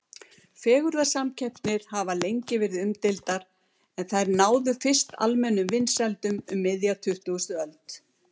Fegurðarsamkeppnir hafa lengi verið umdeildar en þær náðu fyrst almennum vinsældum um miðja tuttugustu öld.